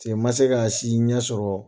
Se ma se k'a si ɲɛ sɔrɔ